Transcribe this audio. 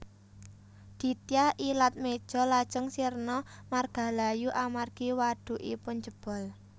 Ditya Ilatmeja lajeng sirna margalayu amargi wadhukipun jebol